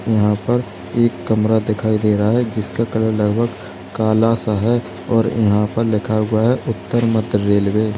यहां पर एक कमरा दिखाई दे रहा है जिसका कलर लगभग काला सा है और यहां पर लिखा हुआ है उत्तर मध्य रेलवे ।